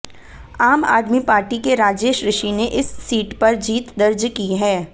आम आदमी पार्टी के राजेश ऋषि ने इस सीट पर जीत दर्ज की है